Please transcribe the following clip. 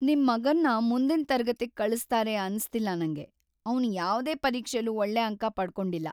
ನಿಮ್ ಮಗನ್ನ ಮುಂದಿನ್ ತರಗತಿಗ್‌ ಕಳಿಸ್ತಾರೆ ಅನ್ಸ್ತಿಲ್ಲ ನಂಗೆ. ಅವ್ನು ಯಾವ್ದೇ ಪರೀಕ್ಷೆಲೂ ಒಳ್ಳೆ ಅಂಕ ಪಡ್ಕೊಂಡಿಲ್ಲ.